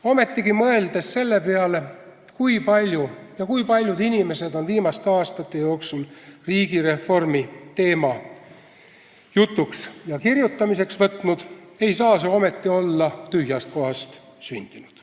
Ometigi, mõeldes selle peale, kui paljud inimesed ja kui palju on viimaste aastate jooksul riigireformi teema jutuks ja kirjutamiseks võtnud, ei saa see olla tühjast kohast sündinud.